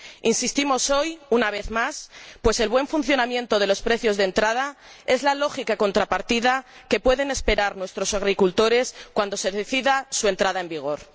Insistimos hoy en ello, una vez más, pues el buen funcionamiento de los precios de entrada es la lógica contrapartida que pueden esperar nuestros agricultores cuando se decida su entrada en vigor.